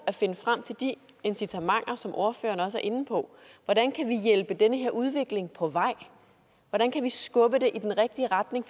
at finde frem til de incitamenter som ordføreren også er inde på hvordan kan vi hjælpe den her udvikling på vej hvordan kan vi skubbe det i den rigtige retning